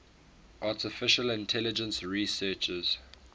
artificial intelligence researchers